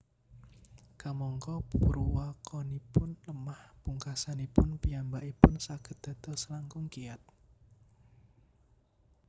Kamangka purwakanipun lemah pungkasanipun piyambakipun saged dados langkung kiyat